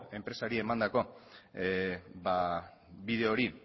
enpresari emandako bide hori